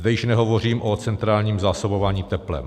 Zde již nehovořím o centrálním zásobování teplem.